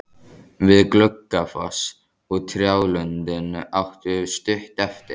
Við Gluggafoss og trjálundinn áttu stutt eftir.